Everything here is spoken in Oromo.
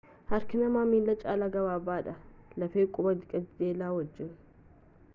harki namaa miila caala gabaabaadha lafee qubaa qajeelaa wajjiin